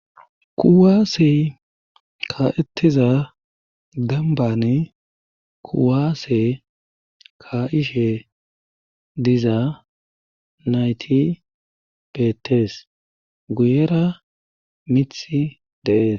kuwaasi ka7ettiza dambane kuwaase ka ishe diza nayti bettees guyera mithi deees